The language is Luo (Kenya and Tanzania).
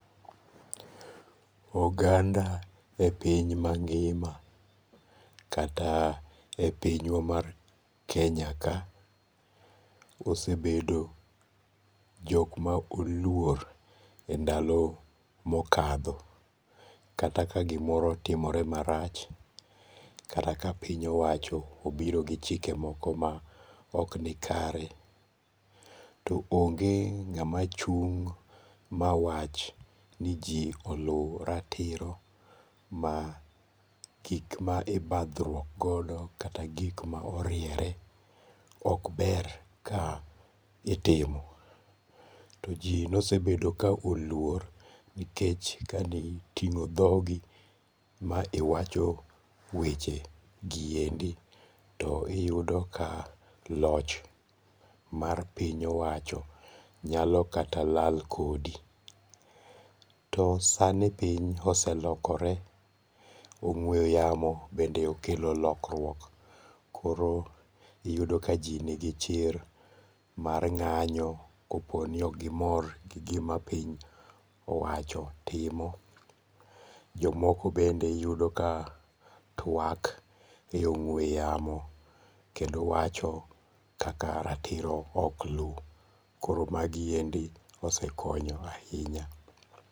Oganda e piny mangima kata e pinywa mar Kenya ka osebedo jok ma oluor e ndalo mokadho kata ka gimoro otimore marach, kata ka piny owacho obiro gi chike moko ma oknikare to onge ngama chung' mawach ni ji olu ratiro ma gik ma ibathruok moro kata gik ma oriere ok ber ka itimo. To ji ne osebedo ka oluor nikech kadi tingo' thogi ma iwacho weche gi endi to iyudo ka loch mar piny owacho nyalo kata lal kodi, to sani piny oselokore ong'we yamo bende osekelo lokruok koro iyudo ka ji nigi chir mar nga'yo koponi ok gimor gi gimapiny owacho timo, jomoko bende iyudo ka twak e ong'we yamo kendo wacho kaka ratiro ok lu koro magiendi ose konyo ahinya